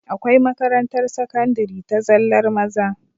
Akwai makarantar sakandari ta zallar maza